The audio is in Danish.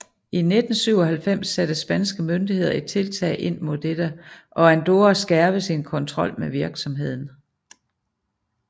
I 1997 satte spanske myndigheder et tiltag ind mod dette og Andorra skærpede sin kontrol med virksomheden